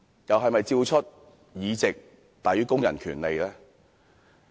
又是否照出"議席大於工人權利"呢？